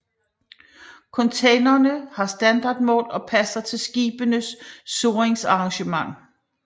Containerne har standardmål og passer til skibenes surringsarrangement